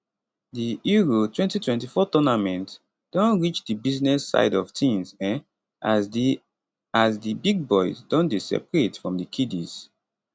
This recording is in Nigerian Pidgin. di euro 2024 tournament don reach di business side of tins um as di as di big boys don dey separate from di kiddies